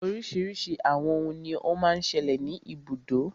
Oríṣiríṣi àwọn òhún ní o má ń ṣẹlẹ̀ ní ibùdó.